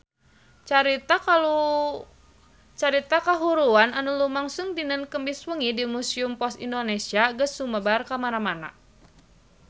Carita kahuruan anu lumangsung dinten Kemis wengi di Museum Pos Indonesia geus sumebar kamana-mana